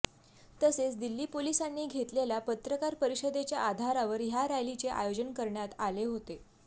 तसेच दिल्ली पोलिसांनी घेतलेल्या पत्रकार परिषदेच्या आधारावर ह्या रॅलीचे आयोजन करणयात आले होते